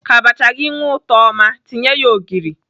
Ka abacha gị nwee ụtọ ọma, tinye ya ogịrị.